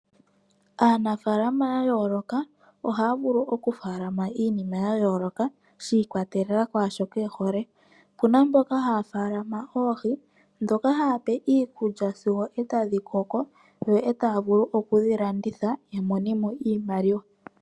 Aanafalama ya yooloka ohaya vulu okufaalama ya yooloka shi ikwatelela kwaashoka ye hole okuna mboka haya faalama oohi dhoka haya pe iikulya sigo eta dhi koko yo taa vulu okudhi landitha ya mone mo iimaliwa.